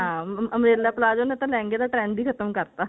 ਹਾਂ umbrella palazzo ਨੇ ਤਾਂ ਲਹਿੰਗੇ ਦਾ trend ਹੀ ਖਤਮ ਕਰਤਾ